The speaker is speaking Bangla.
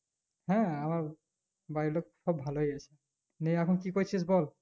হ্যাঁ আমার বাড়ির লোক সব ভালোই আছে, নিয়ে এখন কি করছিস বল?